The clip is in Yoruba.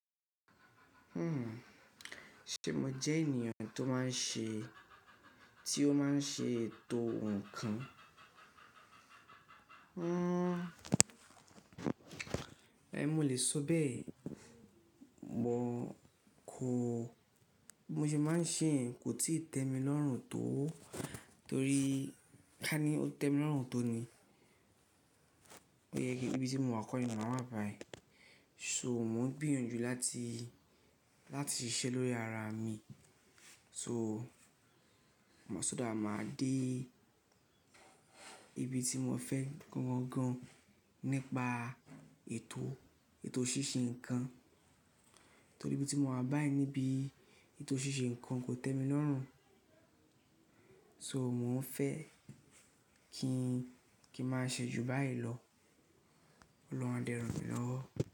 Ṣe mo jẹ́ ènìyàn tó máa ń ṣe, tí ó máa ń ṣe ètò nǹkan? Hmm, e mo lè sọ bẹ́ẹ̀. Mo kò, bi mo se máa ń ṣeye kò tìí tẹ́ mi lọ́rùn tó, torí ká ní ó tẹ́ mi lọ́rùn tó ni. Ó yẹ kí ibi tí mo wà kọ́ni máa wáa à bàí. So mò ń gbìyànjú láti, láti ṣiṣẹ́ lórí ara mi. So mo sọ that máa dé ibi tí mo fẹ́ gan gan nípa ètò, ètò ṣíṣe nǹkan. Torí bí tí mo wà báà níbí, ètò ṣíṣe nǹkan kò tẹ́ mi lọ́rùn. So mò ń fẹ́ kí n, kí n máa ṣe jù báyìí lọ. Ọlọ́run a dẹ̀ ràn mí lọ́wọ́.